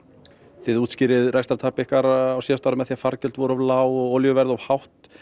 þið rekstrartap ykkar á síðasta ári með því að fargjöld væru of lág og olíuverð of hátt